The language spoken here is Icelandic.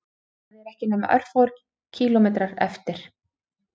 Það eru ekki nema örfáir kílómetrar eftir